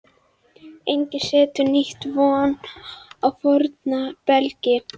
Enginn setur nýtt vín á forna belgi.